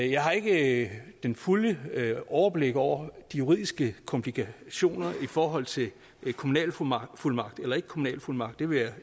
jeg har ikke det det fulde overblik over de juridiske komplikationer i forhold til kommunalfuldmagt eller ikke kommunalfuldmagt det vil jeg